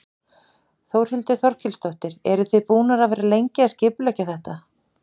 Þórhildur Þorkelsdóttir: Eru þið búnar að vera lengi að skipuleggja þetta?